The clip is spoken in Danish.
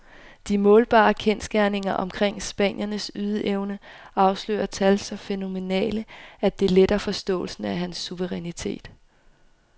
De målbare kendsgerninger omkring spanierens ydeevne afslører tal så fænomenale, at det letter forståelsen af hans suverænitet.